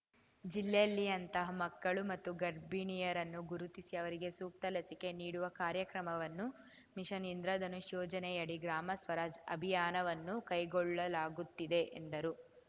ಜಿಲ್ಲೆಯಲ್ಲಿ ಅಂತಹ ಮಕ್ಕಳು ಮತ್ತು ಗರ್ಭಿಣಿಯರನ್ನು ಗುರುತಿಸಿ ಅವರಿಗೆ ಸೂಕ್ತ ಲಸಿಕೆ ನೀಡುವ ಕಾರ್ಯಕ್ರಮವನ್ನು ಮಿಷನ್‌ ಇಂದ್ರಧನುಷ್‌ ಯೋಜನೆಯಡಿ ಗ್ರಾಮ ಸ್ವರಾಜ್‌ ಅಭಿಯಾನವನ್ನು ಕೈಗೊಳ್ಳಲಾಗುತ್ತಿದೆ ಎಂದರು